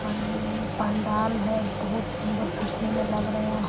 पनन पंडाल है बहुत सुंदर देखने में लग रहें --